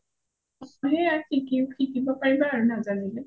অ সেইয়াই আৰু শিকিব পাৰিবা আৰু নাজানিলে